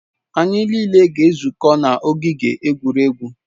Anyị niile ga-ezukọ n'ogige egwuregwu